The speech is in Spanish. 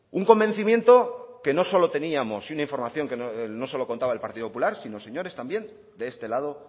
un convencimiento que no solo teníamos y una información que no solo contaba el partido popular sino señores también de este lado